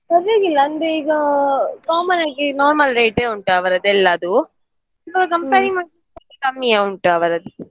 ಪರ್ವಾಗಿಲ್ಲ ಅಂದ್ರೆ ಈಗ common ಆಗಿ normal rate ಉಂಟು ಅವ್ರದ್ದು ಎಲ್ಲದು so compare ಮಾಡಿದ್ರೆ ಕಮ್ಮಿಯೇ ಉಂಟು ಅವರದ್ದು.